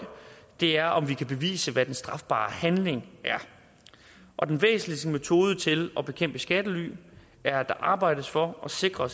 det er om det kan bevises hvad den strafbare handling er og den væsentligste metode til at bekæmpe skattely er at arbejde for at sikre